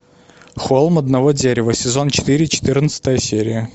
холм одного дерева сезон четыре четырнадцатая серия